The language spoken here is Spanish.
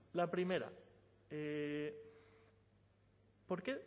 la primera por qué